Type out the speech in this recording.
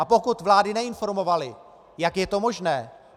A pokud vlády neinformovaly, jak je to možné?